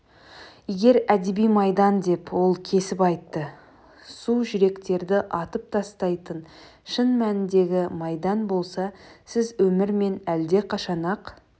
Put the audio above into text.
егер әдеби майдан деп ол кесіп айтты су жүректерді атып тастайтын шын мәніндегі майдан болса сіз өмірмен әлдеқашан-ақ